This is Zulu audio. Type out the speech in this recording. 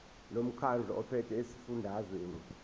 lomkhandlu ophethe esifundazweni